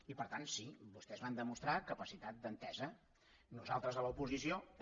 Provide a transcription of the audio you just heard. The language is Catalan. i per tant sí vostès van demostrar capacitat d’entesa nosaltres a l’oposició també